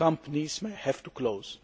companies may have to close.